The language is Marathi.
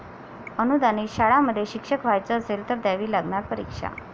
अनुदानित शाळांमध्ये शिक्षक व्हायचं असेल, तर द्यावी लागणार परीक्षा!